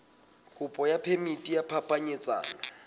kopo ya phemiti ya phapanyetsano